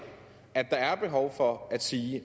er behov for at sige